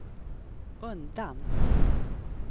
undan